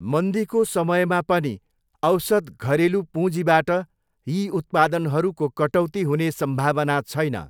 मन्दीको समयमा पनि औसत घरेलू पूँजीबाट यी उत्पादनहरूको कटौती हुने सम्भावना छैन।